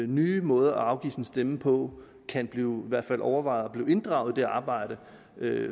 nye måder at afgive sin stemme på kan blive i hvert fald overvejet og inddraget i det arbejde